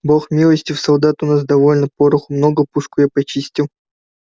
бог милостив солдат у нас довольно пороху много пушку я почистил